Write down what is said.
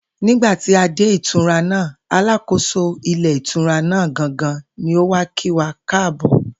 Nígbà tí a dé ìtura náà, alákóso ilé ìtura náà gangan ni ó wá kí wa káàbò̩